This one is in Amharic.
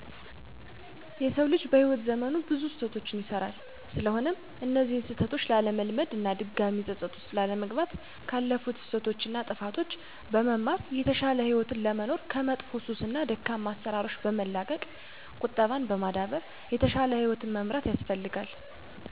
የሰው ልጅ በህይዎት ዘመኑ ብዙ ስህተቶችን ይሰራል ስለሆነም እነዚያን ስህተቶች ላለመድገም እና ድጋሜ ፀፀት ውስጥ ላለመግባት ካለፉት ስህተቶች እና ጥፋቶች በመማር የተሻለ ህይወት ለመኖር ከመጥፎ ሱስ እና ደካማ አሰራሮችን በመላቀቅ ቁጠባን በማዳበር የተሻለ ህይወትን መምራት ያስፈልጋል።